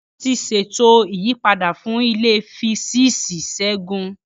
Wọ́n ti ṣètò ìyípadà fún ilé Físíìsì Segun.